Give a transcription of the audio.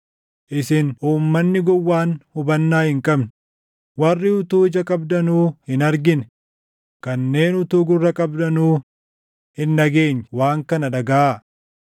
Isin uummanni gowwaan hubannaa hin qabne, warri utuu ija qabdanuu hin argine kanneen utuu gurra qabdanuu // hin dhageenye waan kana dhagaʼa.